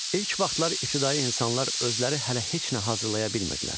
İlk vaxtlar ibtidai insanlar özləri hələ heç nə hazırlaya bilmirdilər.